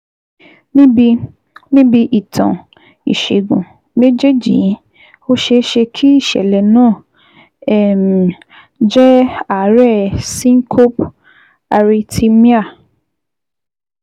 Níbi Níbi ìtàn ìṣègùn méjèèjì yìí, ó ṣeé ṣe kí ìṣẹ̀lẹ̀ náà um jẹ́ àárẹ̀ syncope/arrhythmia